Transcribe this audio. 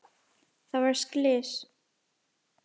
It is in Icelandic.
Það varð slys.